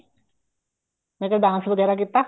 ਮੈਂ ਕਿਹਾ dance ਵਗੈਰਾ ਕੀਤਾ